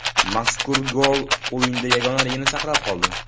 Mazkur gol o‘yinda yagonaligini saqlab qoldi.